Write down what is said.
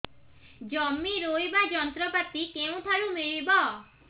ଜମି ରୋଇବା ଯନ୍ତ୍ରପାତି କେଉଁଠାରୁ ମିଳିବ